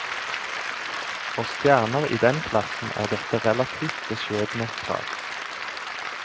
For stjerner i den klassen er dette relativt beskjedne krav.